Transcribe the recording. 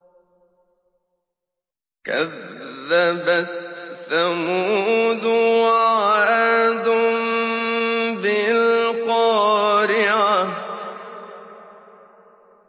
كَذَّبَتْ ثَمُودُ وَعَادٌ بِالْقَارِعَةِ